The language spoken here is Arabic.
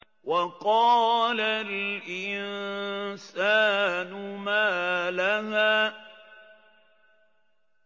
وَقَالَ الْإِنسَانُ مَا لَهَا